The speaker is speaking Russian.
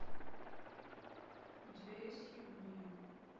у тебя есть хирургия